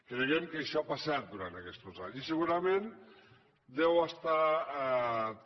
creiem que això ha passat durant aquests anys i segurament deu estar també